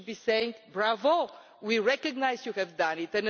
thing. We should be saying bravo, we recognise you have done